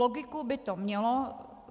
Logiku by to mělo.